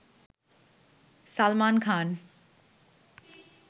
Salman Khan